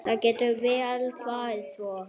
Það getur vel farið svo.